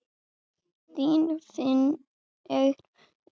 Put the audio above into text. Þín Fanney Ýr.